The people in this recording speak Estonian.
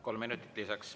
Kolm minutit lisaks.